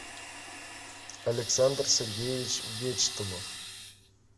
александр сергеевич вечтомов